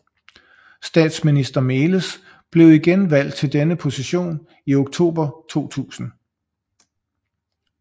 Statsminister Meles blev igen valgt til denne position i oktober 2000